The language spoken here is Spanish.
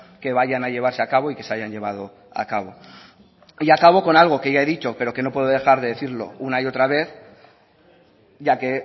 que vayan a llevarse a cabo y que se hayan llevado a cabo y acabo con algo que ya he dicho pero que no puedo dejar de decirlo una y otra vez ya que